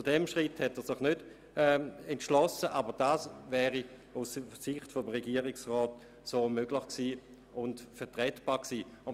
Zu diesem Schritt hat sich der Regierungsrat nicht entschlossen, aber er wäre aus Sicht des Regierungsrats vertretbar gewesen.